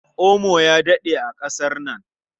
Omo ya daɗe a ƙasar nan.